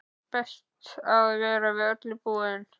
Best að vera við öllu búinn!